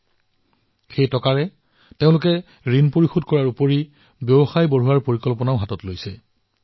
এই উপাৰ্জিত ধনৰ জৰিয়তে মীনা জী আৰু তেওঁৰ সহযোগীসকলে বেংকৰ ঋণ পৰিশোধ কৰিলে আৰু নিজৰ ব্যৱসায় সম্প্ৰসাৰিত কৰাৰ প্ৰস্তুতি চলালে